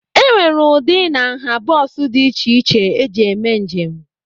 E nwere ụdị na nha bọs dị iche iche eji eme njem.